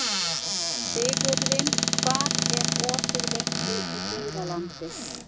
Sigurvin, hvað er opið lengi í Dýralandi?